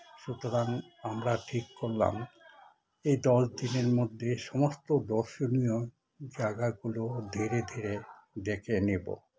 সুতরাং আমরা ঠিক করলাম এই দশ দিনের মধ্যে সমস্ত দর্শনীয় জায়গাগুলোকে ধীরে ধীরে দেখে নেবো